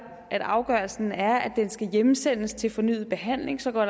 at afgørelsen er at den skal hjemsendes til fornyet behandling så går